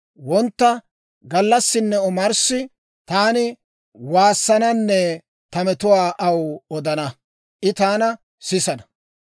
Wontta, gallassinne omarssi taani waassananne ta metuwaa aw odana; I taana sisana.